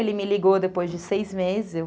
Ele me ligou depois de seis meses.